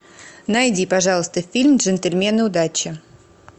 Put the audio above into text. найди пожалуйста фильм джентльмены удачи